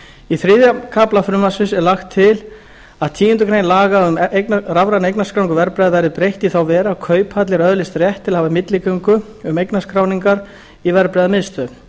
í þriðja kafla frumvarpsins er lagt til að tíunda grein laga um rafræna eignarskráningu verðbréfa verði breytt í þá veru að kauphallir öðlist rétt til að hafa milligöngu um eignarskráningar í verðbréfamiðstöð